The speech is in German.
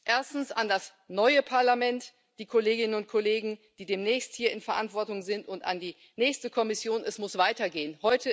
Erstens, an das neue Parlament, die Kolleginnen und Kollegen, die demnächst hier in Verantwortung sind, und an die nächste Kommission Es muss weitergehen.